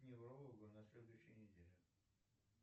к неврологу на следующей неделе